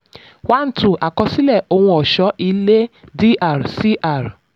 1/2: àkọsílẹ̀ ohun ọ̀ṣọ́-ilé dr cr.